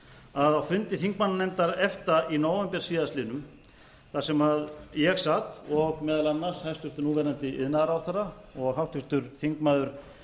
að á fundi þingmannanefndar efta í nóvember síðastliðinn þar sem ég sat og meðal annars hæstvirtur núverandi iðnaðarráðherra og háttvirtur þingmaður